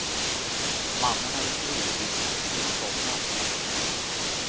Mannen hade troligtvis gått fel och somnat.